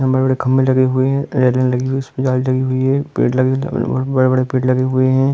खम्बे लगे हुवे हैं। पेड़ लगे हुवे हैं। बड़े-बड़े पेड़ लगे हुवे हैं।